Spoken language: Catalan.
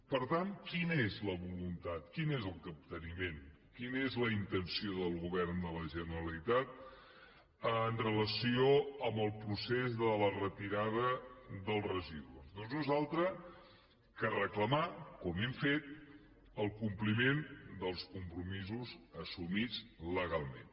per tant quina és la voluntat quin és el capteniment quina és la intenció del govern de la generalitat en relació amb el procés de la retirada dels residus doncs no són altres que reclamar com hem fet el compliment dels compromisos assumits legalment